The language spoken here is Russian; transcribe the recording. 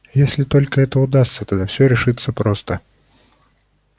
если только это удастся тогда все решится просто